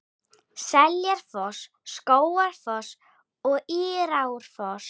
Seljalandsfoss, Skógafoss og Írárfoss.